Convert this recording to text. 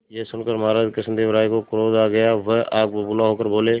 यह सुनकर महाराज कृष्णदेव राय को क्रोध आ गया वह आग बबूला होकर बोले